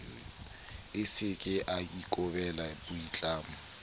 a seke a ikobela boitlamo